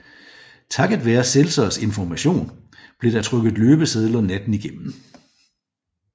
Takket være Seltzers information blev der trykket løbesedler natten igennem